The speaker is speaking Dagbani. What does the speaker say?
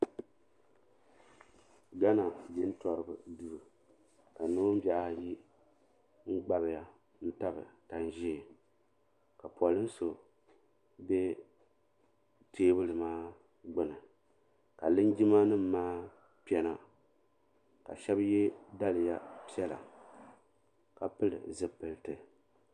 Gana jintoriba duu ka noonbihi ayi n gbabya n tabi tanʒee ka polin so be teebuli maa gbini ka linjima nima maa kpɛna ka shɛba ye daliya piɛla ka pili zipilti.